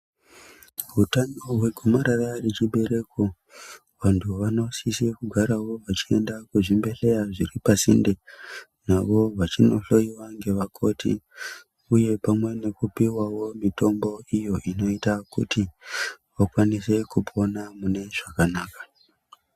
Hutano hwe gomarara rechi bereko vantu vanosise kugarawo vechienda kuzvi bhedhleya zviri pasinde navo vechindo hloyiwa kuti uye vapiwewo pamwe nemitombo iyo inoita kuti vakwanise kupona mune zvakanaka .